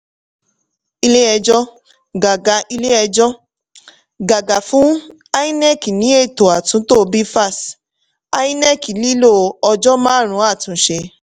ilé-ẹjọ́ gàgà ilé-ẹjọ́ gàgà fún inec ní ẹ̀tọ̀ àtúntò bvas inec nílò ọjọ́ márùn-ún àtúnṣe.